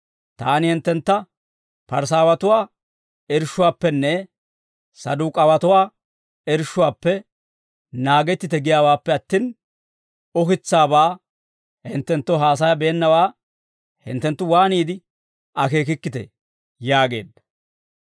Taani hinttentta Parisaawatuwaa irshshuwaappenne Saduk'aawanatuwaa irshshuwaappe naagettite giyaawaappe attin, ukitsaabaa hinttenttoo haasayabeennaawaa hinttenttu waaniide akeekikkitee?» yaageedda.